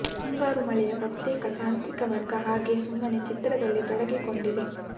ಮುಂಗಾರು ಮಳೆಯ ಬಹುತೇಕ ತಾಂತ್ರಿಕ ವರ್ಗ ಹಾಗೆ ಸುಮ್ಮನೆ ಚಿತ್ರದಲ್ಲೂ ತೊಡಗಿಕೊಂಡಿದೆ